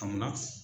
Amina